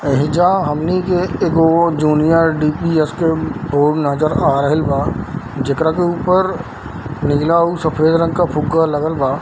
एइजा हमनी के एगो जूनियर डी.पी.एस. के बोर्ड नजर आ रहिल बा जेकरा के ऊपर नीला और सफेद रंग के फ़ुग्गा लगल बा।